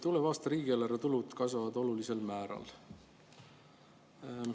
Tuleva aasta riigieelarve tulud kasvavad olulisel määral.